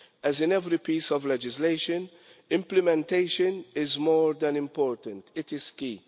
As in every piece of legislation, implementation is more than important it is key.